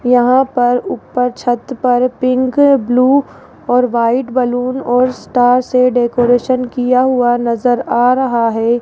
यहां पर ऊपर छत पर पिंक ब्लू और व्हाइट बलून और स्टार से डेकोरेशन किया हुआ नजर आ रहा है।